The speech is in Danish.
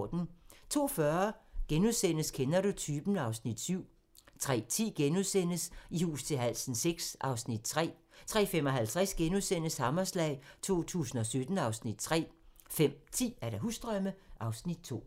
02:40: Kender du typen? (Afs. 7)* 03:10: I hus til halsen VI (Afs. 3)* 03:55: Hammerslag 2017 (Afs. 3)* 05:10: Husdrømme (Afs. 2)